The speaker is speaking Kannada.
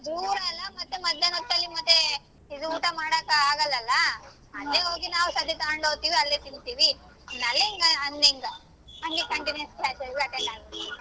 ದೂರಾ ಅಲ್ಲ ಮತ್ತೆ ಮಧ್ಯಾನ್ಹೊತ್ತಲ್ಲಿ ಮತ್ತೆ ಇದು ಊಟ ಮಾಡಕ್ ಆಗಲ್ಲಲ್ಲ ಅಲ್ಲೇ ಹೋಗಿ ನಾವ್ ಡಬ್ಬಿ ತಕೊಂಡ್ ಹೋಗ್ತೇವಿ ಅಲ್ಲೇ ತಿಂತೀವಿ ಹಂಗ್ ಇಂಗಾ ಹಂಗೆ continuous class ಎಲ್ಲ attend ಆಗ್ತೀನಿ.